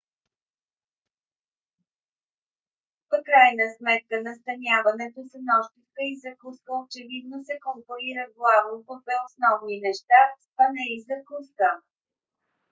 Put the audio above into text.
в крайна сметка настаняването с нощувка и закуска очевидно се конкурира главно по две основни неща: спане и закуска